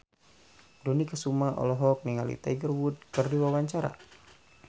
Dony Kesuma olohok ningali Tiger Wood keur diwawancara